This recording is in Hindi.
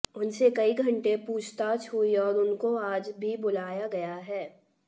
उनसे कई घंटे पूछताछ हुई और उनको आज भी बुलाया गया है